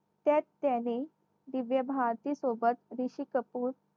त्यात त्याने दिव्या भारती सोबत ऋषी कपूर